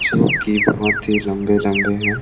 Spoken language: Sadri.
जो की बहुत ही लम्बे - लम्बे हैं।